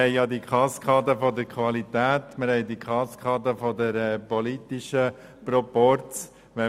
Wir haben die Kaskade der Qualität und diejenige des politischen Proporzes.